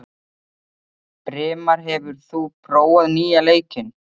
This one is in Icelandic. Brimar, hefur þú prófað nýja leikinn?